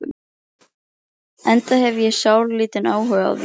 Enda hef ég sáralítinn áhuga á því.